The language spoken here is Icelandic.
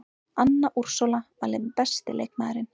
Anna Úrsúla valin besti leikmaðurinn